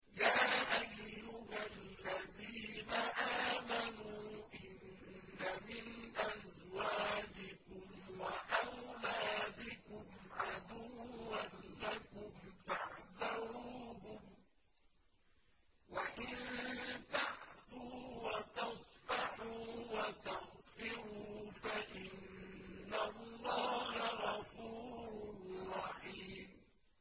يَا أَيُّهَا الَّذِينَ آمَنُوا إِنَّ مِنْ أَزْوَاجِكُمْ وَأَوْلَادِكُمْ عَدُوًّا لَّكُمْ فَاحْذَرُوهُمْ ۚ وَإِن تَعْفُوا وَتَصْفَحُوا وَتَغْفِرُوا فَإِنَّ اللَّهَ غَفُورٌ رَّحِيمٌ